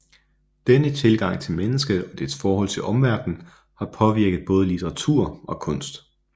Denne tilgang til mennesket og dets forhold til omverdenen har påvirket både litteratur og kunst